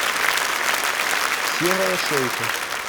серая шейка